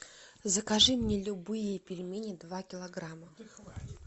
закажи мне любые пельмени два килограмма